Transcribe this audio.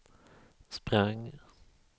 sprang